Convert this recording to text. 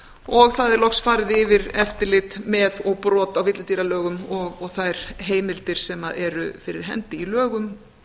og það er loks farið yfir eftirlit með og brot á villidýralögum og þær heimildir sem eru fyrir hendi í lögum